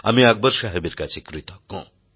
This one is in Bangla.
আমি আকবর সাহেবের কাছে কৃতজ্ঞ